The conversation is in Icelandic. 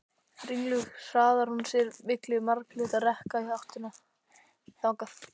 Ringluð hraðar hún sér milli marglitra rekka í áttina þangað.